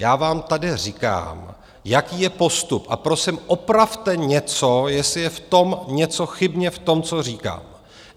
Já vám tady říkám, jaký je postup, a prosím, opravte něco, jestli je v tom něco chybně, v tom, co říkám.